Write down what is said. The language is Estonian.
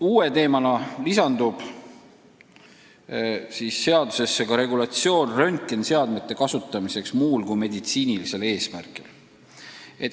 Uue teemana lisandub seadusesse regulatsioon röntgeniseadmete kasutamiseks muul kui meditsiinilisel eesmärgil.